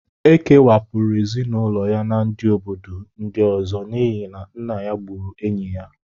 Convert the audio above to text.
E kewapụrụ ezinụlọ ya na ndị obodo ndị ọzọ n'ihi na nna ha gburu enyi ya